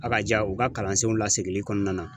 Akaja u ka kalansenw lasegili kɔnɔna na